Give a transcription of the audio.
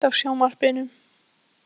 Gísley, kveiktu á sjónvarpinu.